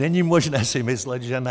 Není možné si myslet, že ne.